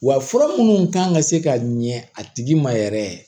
Wa fura minnu kan ka se ka ɲɛ a tigi ma yɛrɛ